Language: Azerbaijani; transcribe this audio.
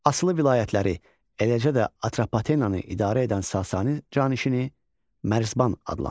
Asılı vilayətləri, eləcə də Atropatenanı idarə edən Sasani canişini Mərzban adlanırdı.